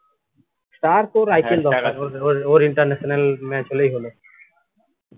ওর ওর international match হলেই হল